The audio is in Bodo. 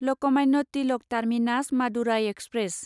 Lokmanya Tilak terminus Madurai express